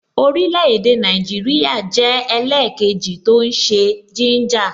Orile-ede Naijiria jẹ́ ẹlẹkeji tó ń ṣe gínjà